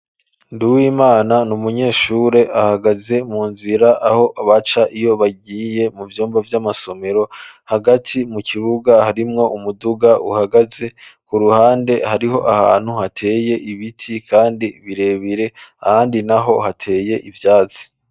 ndi w'imana n'umunyeshure ahagaze mu nzira aho baca iyo bagiye mu byumba by'amasomero hagati mu kiruga harimwo umuduga uhagaze ku ruhande hariho ahantu hateye ibiti kandi birebire handi naho hateye ibyatsi